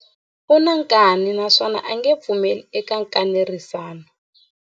U na nkani naswona a nge pfumeli eka nkanerisano.